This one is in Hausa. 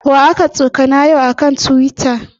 Wa aka tsokana yau a kan Tiwita?